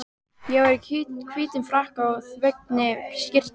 Ég var í hvítum frakka og þveginni skyrtu.